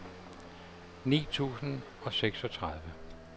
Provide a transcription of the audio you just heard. ni tusind og seksogtredive